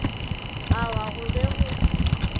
a wa go be go